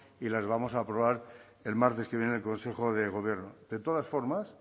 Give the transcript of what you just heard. y las vamos a aprobar el martes que viene en el consejo de gobierno de todas formas